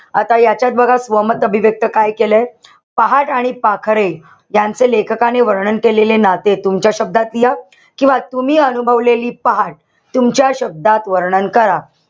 आता यांच्यात बघा. स्वमत अभिव्यक्त काय केलंय. पहाट आणि पाखरे यांचे लेखकाने वर्णन केलेले नाते तुमच्या शब्दात लिहा. किंवा तुम्ही अनुभवलेली पहाट. तुमच्या शब्दात वर्णन करा.